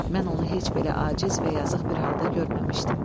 Mən onu heç belə aciz və yazıq bir halda görməmişdim.